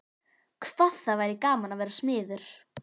Hvað það væri gaman að vera smiður.